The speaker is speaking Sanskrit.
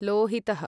लोहितः